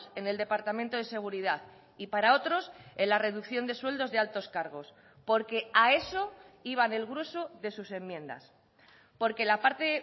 en el departamento de seguridad y para otros en la reducción de sueldos de altos cargos porque a eso iban el grueso de sus enmiendas porque la parte